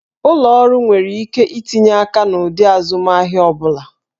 Ụlọ ọrụ nwere ike itinye aka n'ụdị azụmahịa ọ bụla